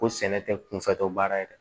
Ko sɛnɛ tɛ kunfɛ tɔ baara ye dɛ